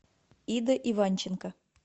ида иванченко